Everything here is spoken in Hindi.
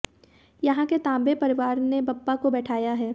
यहां के तांबे परिवार ने बप्पा को बैठाया है